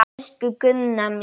Elsku Gunna mín.